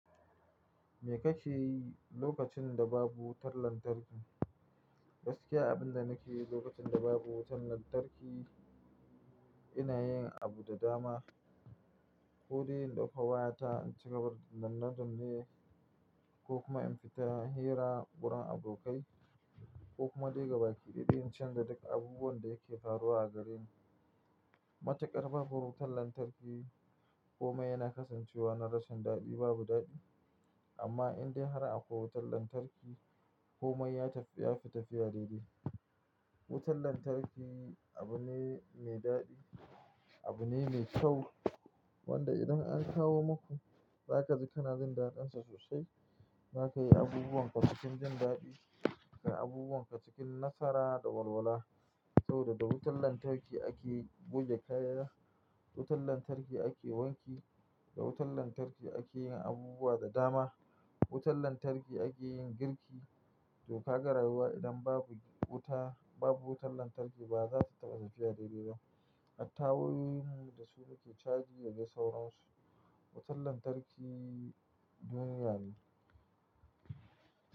Me kake yi lokacin da babu wutar lantarki? Gaskiya, abin da nake yi lokacin da babu wutar lantarki ina yin abu da dama. Ko dai in ɗauka wayata in ci gaba da zanna jamme ko kuma in fita hira wurin abokai ko kuma dai gaba ƙiɗi in can da duk abubuwan da yake faruwa a gareni. Matuƙar babu wutar lantarki komai yana kasancewa na rashin daɗi, babu daɗi. Amma indai har akwai wutar lantarki komai ya fi tafiya daidai. Wutar lantarki abu ne mai daɗi, abu ne mai kyau wanda idan an kawo muku za ku ji kana jin daɗinsa sosai. Za ka yi abubuwan ka cikin jin daɗi, ka yi abubuwan ka cikin nasara da walwala saboda da wutar lantarki ake goge kaya, da wutar lantarki ake wanki, da wutar lantarki ake yin abubuwa da dama. Wutar lantarki ake yin girki to ka ga rayuwa idan babu wuta, babu wutar lantarki ba za su taɓa tafiya daidai ba. Hatta wayoyin da suke caji yake sauran su. Wutar lantarki duniya ne.